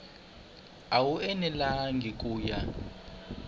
a wu enelangi ku ya